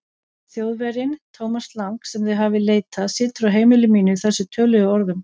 Þjóðverjinn, Thomas Lang, sem þið hafið leitað, situr á heimili mínu í þessum töluðu orðum.